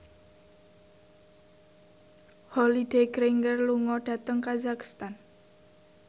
Holliday Grainger lunga dhateng kazakhstan